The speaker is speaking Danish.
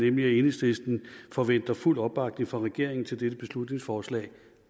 enhedslisten forventer fuld opbakning fra regeringen til dette beslutningsforslag